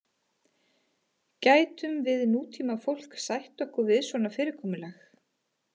Gætum við nútímafólk sætt okkur við svona fyrirkomulag?